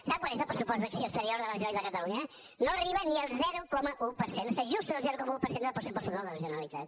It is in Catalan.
sap quant és el pressupost d’acció exterior de la generalitat de catalunya no arriba ni al zero coma un per cent està just en el zero coma un per cent del pressupost total de la generalitat